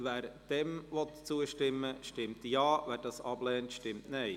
Wer diesem zustimmen will, stimmt Ja, wer diesen ablehnt, stimmt Nein.